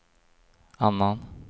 annan